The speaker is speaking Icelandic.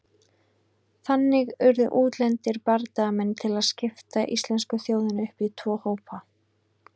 Þannig urðu útlendir bardagamenn til að skipta íslensku þjóðinni upp í tvo hópa.